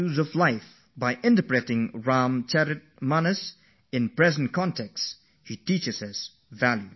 From giving interpretations of the Ram Charit Manas in the present day context, he is now involved with trying to spread its values in the country and to the whole world